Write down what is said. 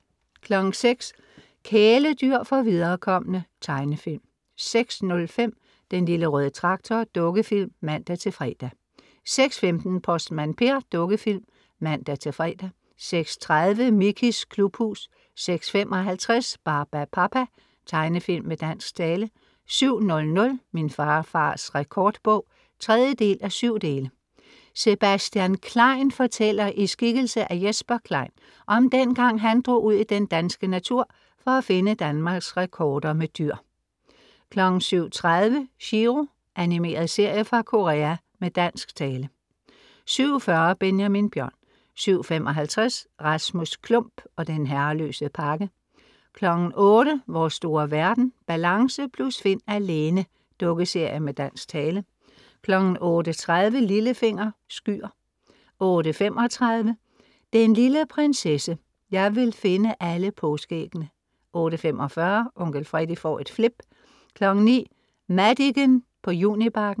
06:00 Kæledyr for viderekomne. tegnefilm 06:05 Den lille røde traktor. Dukkefilm (man-fre) 06:15 Postmand Per. Dukkefilm (man-fre) 06:30 Mickeys Klubhus 06:55 Barbapapa. Tegnefilm med dansk tale 07:00 Min farfars rekordbog (3:7) Sebastian Klein fortæller, i skikkelse af Jesper Klein, om den gang han drog ud i den danske natur for at finde Danmarks rekorder med dyr 07:30 Chiro. Animeret serie fra Korea med dansk tale 07:40 Benjamin Bjørn 07:55 Rasmus Klump og den herreløse pakke 08:00 Vores store verden Balance + Finn alene Dukkeserie med dansk tale 08:30 Lillefinger, Skyer 08:35 Den lille prinsesse, Jeg vil finde alle påskeæggene! 08:45 Onkel Fredie får et flip 09:00 Madicken på Junibakken